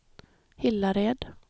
Hillared